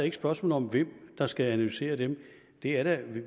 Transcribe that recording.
et spørgsmål om hvem der skal analysere dem det er da